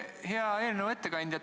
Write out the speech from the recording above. Hea eelnõu ettekandja!